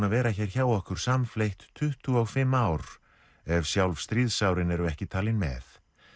að vera hér hjá okkur samfleytt tuttugu og fimm ár ef sjálf stríðsárin eru ekki talin með